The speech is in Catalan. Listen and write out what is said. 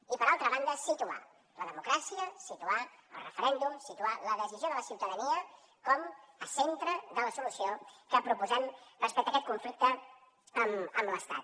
i per altra banda situar la democràcia situar el referèndum situar la decisió de la ciutadania com a centre de la solució que proposem respecte a aquest conflicte amb l’estat